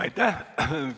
Aitäh!